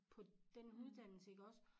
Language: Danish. På den uddannelse iggås